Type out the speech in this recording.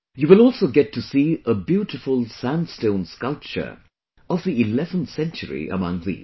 You will also get to see a beautiful sandstone sculpture of the 11th century among these